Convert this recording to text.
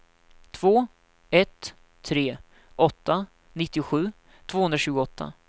två ett tre åtta nittiosju tvåhundratjugoåtta